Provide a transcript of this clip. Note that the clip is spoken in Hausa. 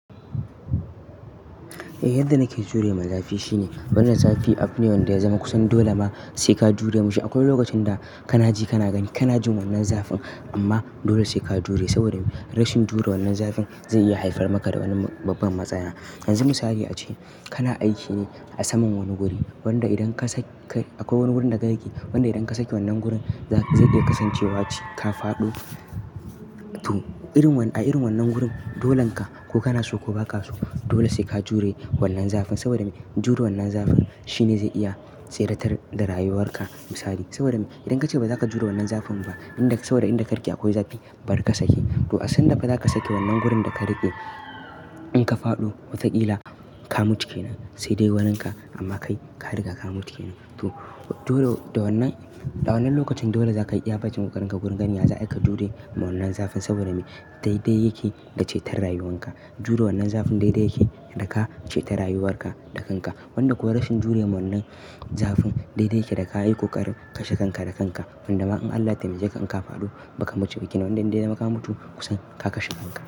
Eh yadda nake jure ma zafi shine wannan zafi abu ne wanda ya zama kusan dole mba sai ka jure masa. Akwai lokacin da kana ji kana gani kana jin wannan zafin amma dole sai ka jure saboda rashin jure wannan zafin zai iya haifar maka da wani babban matsala. Yanzu misali ace kana aiki ne a saman wani guri wanda idan ka sake akwai wani gurin da ka rike wanda idan ka sake wannan gurin zai iya kasancewa ce ka faɗo to irin wannan a irin wannan gurin dolenka ko kana so ko ba ka so dole sai ka jure wannan zafin saboda me jure wannan zafin shine zai iya tsera tar da rayuwarka misali saboda me idan ka ce ba za ka jure wannan zafin ba inda saboda inda ka rike akwai zafi bari ka sake to a sandan da ba za ka sake wannan gurin da ka rike in ka faɗo watakila ka mutu kenan sai dai waninka amma kai ka riga ka mutu kenan. To dole da wannan da wannan lokacin dole za ka iya bacin ƙoƙarinka gurin gani ya za'aika jure ma wannan zafin saboda me dai-da yake da cetar rayuwanka jure wannan zafin dai-dai yake da ka ceta rayuwarka da kanka wanda kuwa rashin jure ma wannan zafin dai-dai yake da ka yi ƙoƙarin kashe kanka da kanka wanda ma in Allah ya taimake ka in ka faɗo ba ka mutu ba kenan wanda in dai ka mutu kusan ka kashe kanka.